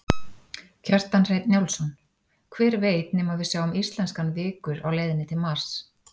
Kjartan Hreinn Njálsson: Hver veit nema að við sjáum íslenskan vikur á leiðinni til Mars?